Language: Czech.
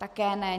Také ne.